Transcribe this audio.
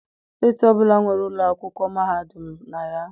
Steeti ọbụla nwere ụlọ akwụkwọ mahadum na ya.